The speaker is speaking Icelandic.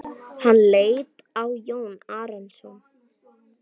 Hann leit á Jón Arason.